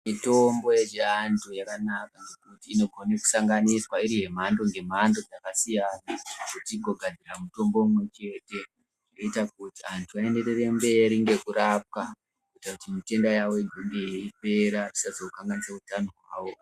Mitombo yechiandu yakanaka inogone kusanganiswa iri mhando nemhando dzakasiyana igogadzira mutombo umwe chete unoita kuti vantu avaenderere mberi vei rwapwa kuti utenda hwavo hugume weipera usazokanganise utanao hwavo.